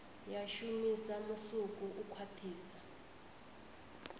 ya shumisa musuku u khwathisa